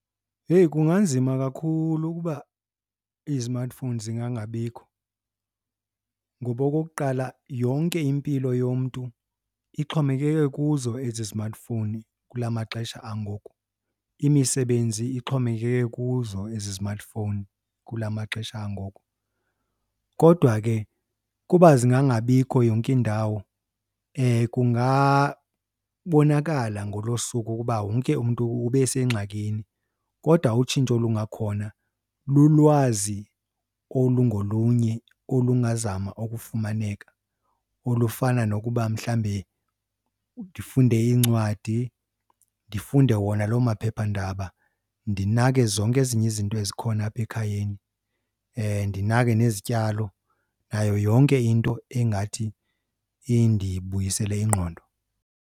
Heyi, kunganzima kakhulu ukuba izimatifowuni zingangabikho. Ngoba okokuqala yonke impilo yomntu ixhomekeke kuzo ezi zimatifowuni kula maxesha angoku, imisebenzi ixhomekeke kuzo ezi zimatifowuni kula maxesha angoku. Kodwa ke ukuba zingangabikho yonke indawo kungabonakala ngolo suku ukuba wonke umntu ube sengxakini. Kodwa utshintsho olungakhona lulwazi olungolunye olungazama ukufumaneka olufana nokuba mhlawumbe ndifunde iincwadi, ndifunde wona loo maphephandaba, ndinake zonke ezinye izinto ezikhona apha ekhayeni, ndinake nezityalo nayo yonke into engathi indibuyisele ingqondo.